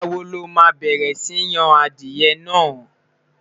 nígbà wò loma bẹrẹ Si Yàn adìe nà?